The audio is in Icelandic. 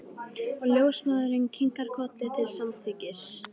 Og ljósmóðirin kinkar kolli til samþykkis.